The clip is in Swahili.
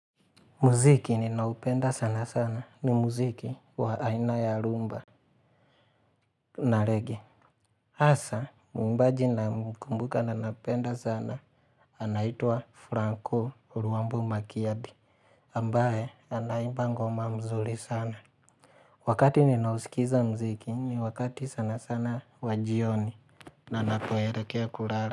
Muziki ninaupenda sana sana, ni muziki wa aina ya rhumba na reggae. Hasa, muimbaji ninamkumbuka na nampenda sana, anaitwa Franco Urwambu Makiabi, ambaye, anaimba ngoma mzuri sana. Wakati ninausikiza mziki, ni wakati sana sana wa jioni na napoelekea kulala.